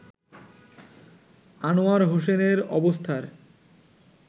আনোয়ার হোসেনের অবস্থার